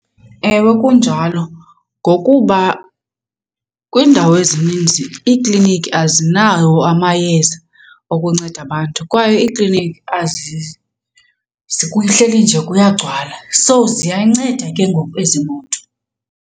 Ewe, kunjalo ngokuba kwiindawo ezininzi iikliniki azinawo amayeza okunceda abantu kwaye ikliniki kuhleli nje kuyagcwala. So ziyanceda ke ngoku ezi moto.